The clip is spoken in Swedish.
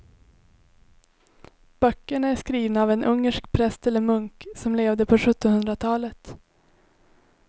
Böckerna är skrivna av en ungersk präst eller munk som levde på sjuttonhundratalet.